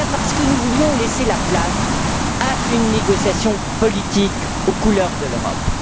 Eh bien, parce que nous voulions laisser la place à une négociation politique aux couleurs de l'Europe.